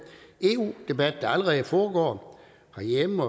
eu debat der allerede foregår herhjemme